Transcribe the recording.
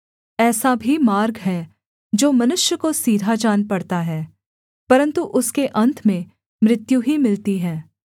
ऐसा भी मार्ग है जो मनुष्य को सीधा जान पड़ता है परन्तु उसके अन्त में मृत्यु ही मिलती है